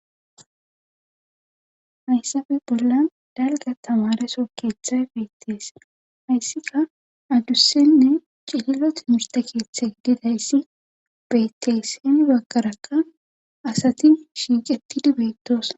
Hayssappe bollan dalgga tamareso keeththay beetees. Hayssikka adussanne cililo timirtte keththa gididayssa beetees. hini bagarakka asati shiiqetidi beetosona.